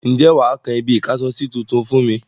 Ǹjẹ́ wà á kan ibi-ìkásọsí tuntun fún mi?